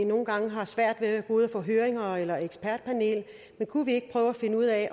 nogle gange har svært ved både at få høringer eller ekspertpaneler men kunne vi ikke prøve at finde ud at